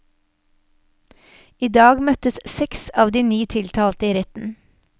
I dag møtte seks av de ni tiltalte i retten.